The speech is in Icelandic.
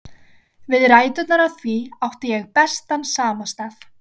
Við ræturnar á því átti ég bestan samastað.